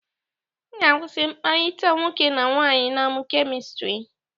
M ga-akwụsị mkpakọrịta nwoke na nwaanyị na-amụ kemistri.